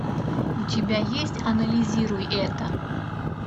у тебя есть анализируй это